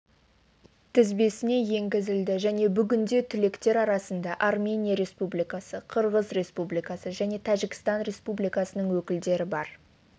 тізбесіне енгізілді және бүгінде түлектер арасында армения республикасы қырғыз республикасы және тәжікстан республикасының өкілдері бар